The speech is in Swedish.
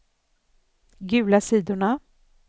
gula sidorna